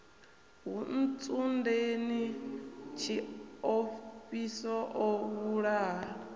ha ntsundeni tshiofhiso o vhulaha